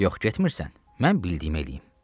Yox getmirsən, mən bildiyimi eləyim.